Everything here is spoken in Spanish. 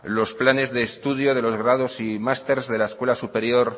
los planes de estudio de los grados y másteres de la escuela superior